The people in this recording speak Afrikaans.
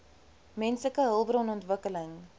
menslike hulpbron ontwikkeling